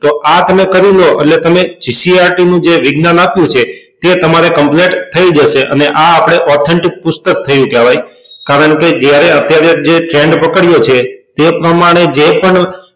તો આ તમે કરી લો એટલે તમે ccrt નું જે વિજ્ઞાન આપ્યું છે તે તમારે complete થઇ જશે અને આ આપડે authentic પુસ્તક થયું કહેવાય કારણ કે જયારે અત્યારે જે trend પકડાયો છે તે પ્રમાણે જે પણ